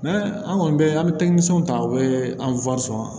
An kɔni bɛ an bɛ ta o bɛ an